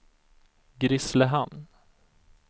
Grisslehamn